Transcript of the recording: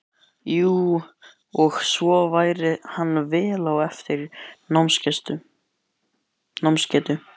Jú, og svo væri hann vel á eftir í námsgetu.